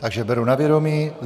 Takže beru na vědomí.